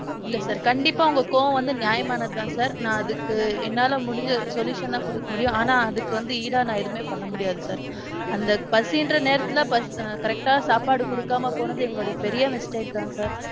இல்ல sir கண்டிப்பா உங்க கோவம் வந்து நியாயமானது தான் sir. நான் அதுக்கு என்னால முடிஞ்ச solution ன குடுக்க முடியும். ஆனான் அதுக்கு வந்து ஈடா நான் எதுவுமே பண்ண முடியாது sir. அந்த பசின்ற நேரத்துல ~ correct டா சாப்பாடு குடுக்காம போனது எங்களோட பெரிய mistake தான் sir.